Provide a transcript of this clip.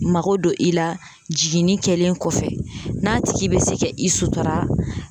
Mako don i la jiginni kɛlen kɔfɛ n'a tigi bɛ se ka i sutara